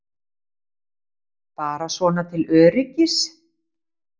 Bara svona til öryggis.